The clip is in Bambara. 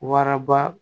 Waraba